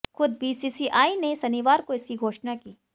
खुद बीसीसीआई ने शनिवार को इसकी घोषणा की